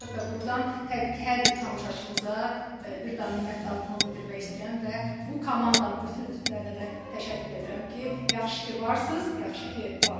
Və burdan təbii ki, hər bir tamaşaçımıza bir daha minnətdarlığımı bildirmək istəyirəm və bu komandanın bütün üzvlərinə də təşəkkür edirəm ki, yaxşı ki, varsınız, yaxşı ki, varıq.